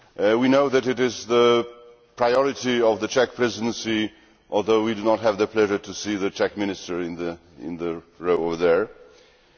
We know that it is the priority of the Czech Presidency although we do not have the pleasure of seeing the Czech Minister in the Chamber.